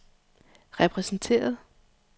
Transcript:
repræsenteret